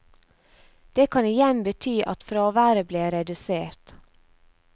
Det kan igjen bety at fraværet ble redusert.